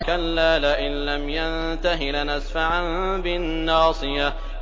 كَلَّا لَئِن لَّمْ يَنتَهِ لَنَسْفَعًا بِالنَّاصِيَةِ